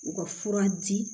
U ka fura di